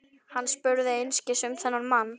Hann spurði einskis um þennan mann.